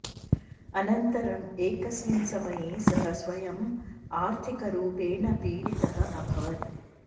अनन्तरम् एकस्मिन् समये सः स्वयं आर्थिकरूपेण पीडितः अभवत्